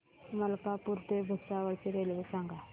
मलकापूर ते भुसावळ ची रेल्वे सांगा